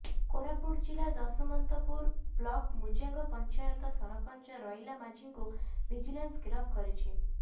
କୋରାପୁଟ ଜିଲ୍ଲା ଦଶମନ୍ତପୁର ବ୍ଲକ ମୁଜାଙ୍ଗ ପଞ୍ଚାୟତର ସରପଞ୍ଚ ରଇଲା ମାଝିଙ୍କୁ ଭିଜିଲାନ୍ସ ଗିରଫ କରିଛି